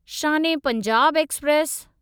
Shaan e Punjab express